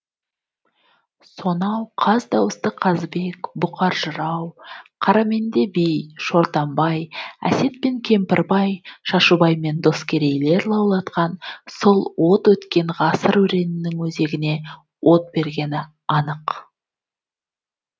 сонау қаздауысты қазыбек бұқар жырау қараменде би шортанбай әсет пен кемпірбай шашубай мен доскейлер лаулатқан сол от өткен ғасыр өренінің өзегіне от бергені анық